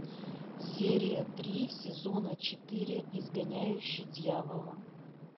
серия три сезона четыре изгоняющий дьявола